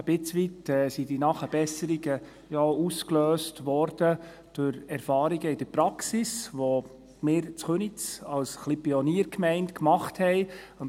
Ein Stück weit wurden die Nachbesserungen durch Erfahrungen in der Praxis ausgelöst, welche wir in Köniz als Pioniergemeinde gemacht haben.